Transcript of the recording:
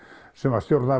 sem stjórnaði